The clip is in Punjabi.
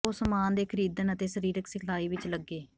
ਉਹ ਸਾਮਾਨ ਦੇ ਖਰੀਦਣ ਅਤੇ ਸਰੀਰਕ ਸਿਖਲਾਈ ਵਿੱਚ ਲੱਗੇ